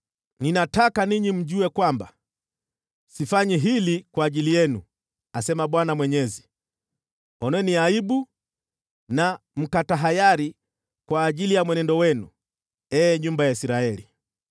Ninataka ninyi mjue kwamba sifanyi hili kwa ajili yenu, asema Bwana Mwenyezi. Oneni aibu na mkatahayari kwa ajili ya mwenendo wenu, ee nyumba ya Israeli!